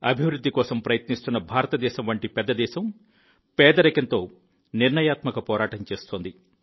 అభివృద్ధి కోసం ప్రయత్నిస్తున్న భారతదేశం వంటి పెద్ద దేశం పేదరికంతో నిర్ణయాత్మక పోరాటం చేస్తోంది